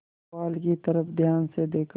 पुआल की तरफ ध्यान से देखा